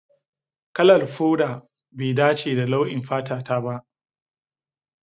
Kalar foda bai dace da launin fata ta ba.